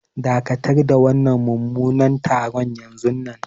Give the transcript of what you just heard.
Dakatar da wannan mummunan taron yanzunnan.